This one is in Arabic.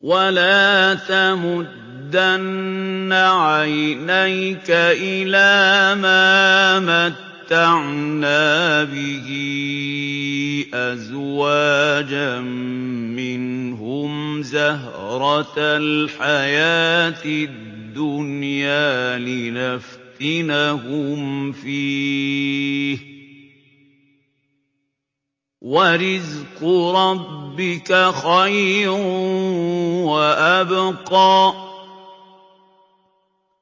وَلَا تَمُدَّنَّ عَيْنَيْكَ إِلَىٰ مَا مَتَّعْنَا بِهِ أَزْوَاجًا مِّنْهُمْ زَهْرَةَ الْحَيَاةِ الدُّنْيَا لِنَفْتِنَهُمْ فِيهِ ۚ وَرِزْقُ رَبِّكَ خَيْرٌ وَأَبْقَىٰ